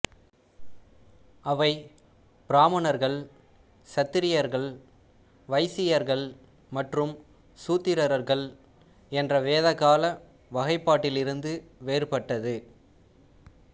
அவை பிராமணர்கள் சத்ரியர்கள் வைசியர்கள் மற்றும் சூத்திரர்கள் என்ற வேதகால வகைப்பாட்டிலிருந்து வேறுபட்டது